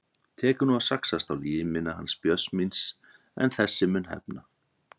Tekur nú að saxast á limina hans Björns míns en þessi mun hefna.